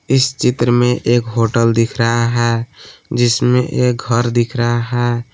इस चित्र में एक होटल दिख रहा है जिसमें एक घर दिख रहा है।